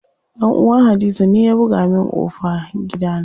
Dan uwan hadiza ne ya buga min ƙofan gidana.